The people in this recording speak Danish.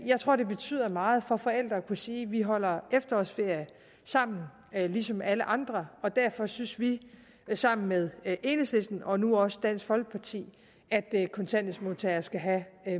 jeg tror det betyder meget for forældre at kunne sige vi holder efterårsferie sammen ligesom alle andre og derfor synes vi sammen med enhedslisten og nu også dansk folkeparti at kontanthjælpsmodtagere skal have